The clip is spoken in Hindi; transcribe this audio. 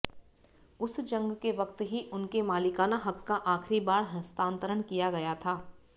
उस जंग के वक्त ही उनके मालिकाना हक का आखिरी बार हस्तांतरण किया गया था